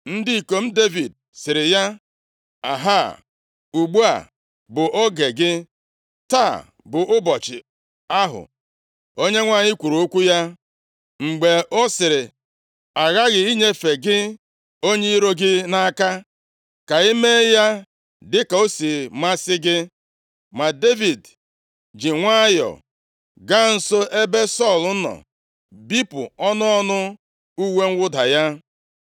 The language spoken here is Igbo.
Ndị ikom Devid sịrị ya, “Ahaa ugbu a bụ oge gị! Taa bụ ụbọchị ahụ Onyenwe anyị kwuru okwu ya, mgbe ọ sịrị, ‘Aghaghị m inyefe gị onye iro gị nʼaka, ka i mee ya dịka o si masị gị.’ ” Ma Devid ji nwayọọ gaa nso ebe Sọl nọ bipụ ọnụ ọnụ uwe mwụda ya.